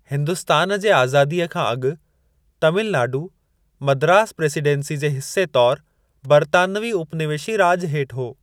हिन्दुस्तान जे आज़ादीअ खां अॻु, तामिल नाडू मद्रास प्रेसिडेंसी जे हिस्से तौर बर्तानवी उपनिवेशी राॼु हेठि हो।